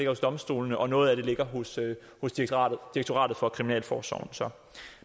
hos domstolene og noget af den ligger hos hos direktoratet for kriminalforsorgen